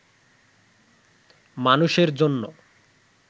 মানুষের জন‍্য